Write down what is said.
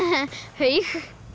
haug